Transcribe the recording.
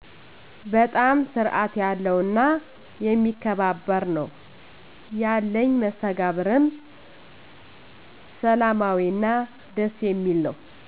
በጣም ስርአት ያለው እና የሚከባበር ነወ። ያለኝ መስተጋብርም ሰላማዊ እና ደስ የሚል ነው